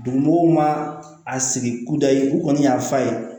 Dugu mɔgɔw ma a sigi k'u da ye u kɔni y'a fa ye